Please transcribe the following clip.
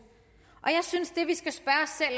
jeg